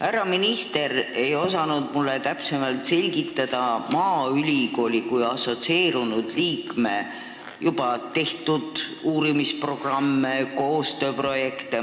Härra minister ei osanud mulle täpsemalt tutvustada maaülikooli kui assotsieerunud liikme juba teostatud uurimisprogramme, koostööprojekte.